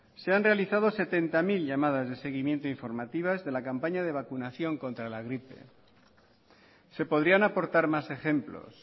se han realizado setenta mil llamadas de seguimiento informativas de la campaña de vacunación contra la gripe se podrían aportar más ejemplos